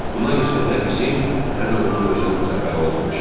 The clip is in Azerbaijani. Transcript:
Bundan isə nə bizim, nə də onun özünün xəbəri olmamışdı.